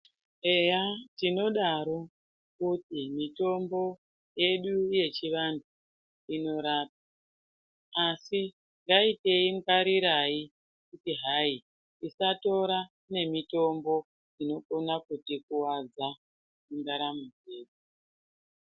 Eya tinodaro kuti mitombo yedu yechi vantu ino rapa asi dai tei ngwarirai kuti hai tisa tora ne mitombo inokona kuti kuwadza mu ndaramo yedu.